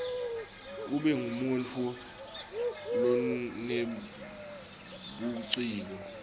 ube ngumuntfu lonebuciko